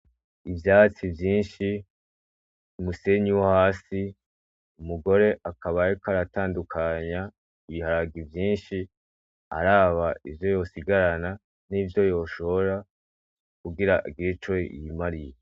Ivyatsi vyinshi, umusenyi wo hasi, umugore akaba ariko atandukanya ibiharage vyinshi araba ivyo yosigarana nivyo yoshora kugira agire ico yimariye.